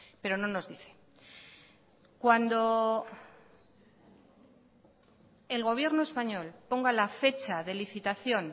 pero no nos dice cuando el gobierno español ponga la fecha de licitación